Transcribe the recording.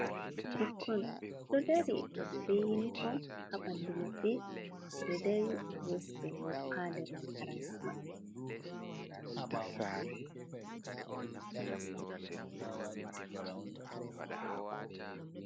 Ɓukkon ɗo dari be yinifom haɓandu maɓɓe, ɓeɗo dari be hosiɓe hoto ha nder makaranta man.